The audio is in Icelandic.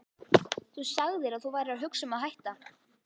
Þú sagðir að þú værir að hugsa um að hætta.